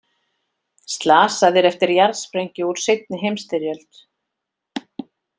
Slasaðir eftir jarðsprengju úr seinni heimsstyrjöld